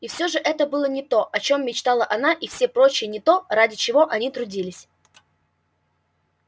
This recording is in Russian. и всё же это было не то о чём мечтала она и все прочие не то ради чего они трудились